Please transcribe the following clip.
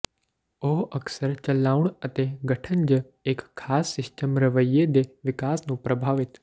ਉਹ ਅਕਸਰ ਚਲਾਉਣ ਅਤੇ ਗਠਨ ਜ ਇੱਕ ਖਾਸ ਸਿਸਟਮ ਰਵੱਈਏ ਦੇ ਵਿਕਾਸ ਨੂੰ ਪ੍ਰਭਾਵਿਤ